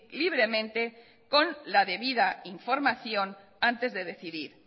libremente con la de vida información antes de decidir